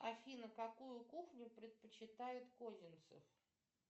афина какую кухню предпочитает козинцев